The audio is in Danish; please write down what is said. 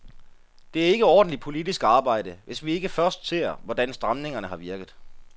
Det er ikke ordentligt politisk arbejde, hvis vi ikke først ser, hvordan stramningerne har virket.